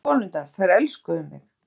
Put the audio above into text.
En konurnar, þær elskuðu mig.